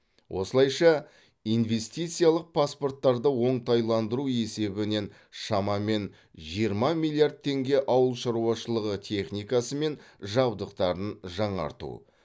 осылайша инвестициялық паспорттарды оңтайландыру есебінен шамамен жиырма миллиард теңге ауыл шаруашылығы техникасы мен жабдықтарын жаңарту